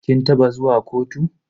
Kin taba zuwa kotu?